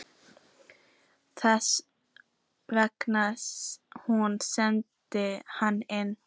Þess vegna sem hún sendi hana inn.